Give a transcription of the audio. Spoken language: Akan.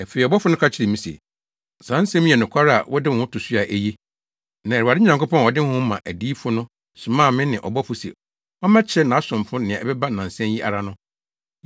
Afei ɔbɔfo no ka kyerɛɛ me se, “Saa nsɛm yi yɛ nokware a wode wo ho to so a, eye. Na Awurade Nyankopɔn a ɔde Honhom ma adiyifo no somaa ne bɔfo se ɔmmɛkyerɛ nʼasomfo nea ɛbɛba nnansa yi ara no.”